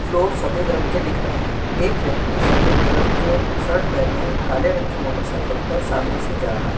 Floor सफेद रंग के दिख रहे हैं। एक व्यक्ति सफेद कलर के शर्ट पहने काले रंग की मोटरसाइकिल पर सामने से जा रहा है।